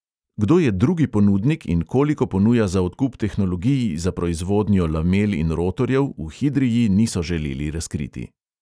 Kdo je drugi ponudnik in koliko ponuja za odkup tehnologij za proizvodnjo lamel in rotorjev, v hidrii niso želeli razkriti.